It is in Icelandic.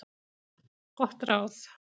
Gott ráð